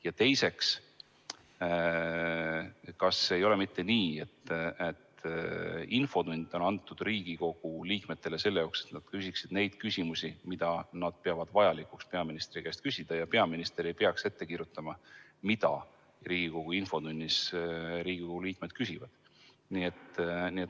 Ja teiseks, kas ei ole mitte nii, et infotund on antud Riigikogu liikmetele selleks, et nad küsiksid neid küsimusi, mida nad peavad vajalikuks peaministri käest küsida, ja peaminister ei peaks ette kirjutama, mida Riigikogu liikmed infotunnis küsivad.